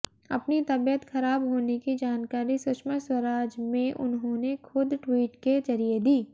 अपनी तबियत खराब होने की जानकारी सुषमा स्वराज में उन्होंने खुद ट्वीट के ज़रिए दी